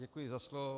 Děkuji za slovo.